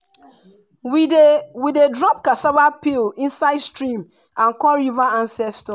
we dey we dey drop cassava peel inside stream and call river ancestors.